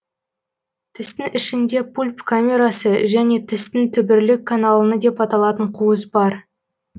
тістің ішінде пульп камерасы және тістің түбірлік каналыны деп аталатын қуыс бар